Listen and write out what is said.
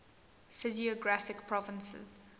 physiographic provinces